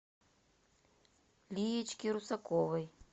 лиечке русаковой